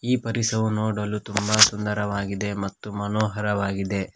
ಈ ಪರಿಸರ ನೋಡಲು ತುಂಬ ಸುಂದರವಾಗಿದೆ ಮತ್ತು ಮನೋಹರವಾಗಿದೆ.